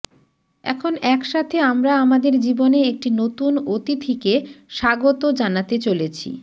এখন একসাথে আমরা আমাদের জীবনে একটি নতুন অতিথিকে স্বাগত জানাতে চলেছি